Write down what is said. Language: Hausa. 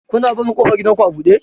Kuna barin ƙofar gidanku a buɗe?